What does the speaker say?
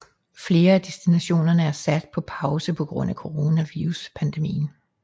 Flere af destinationerne er sat på pause på grund af Coronaviruspandemien